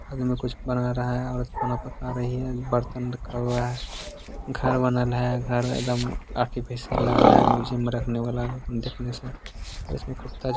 अब इ में कुछ बना रहा है और खाना पका रही है बर्तन रखा हुआ है घर बनल है अ घर एकदम आर्टिफीसियल लग रहा है म्यूजियम रखने वाला देखने से ओर इस मे कुत्ता जो --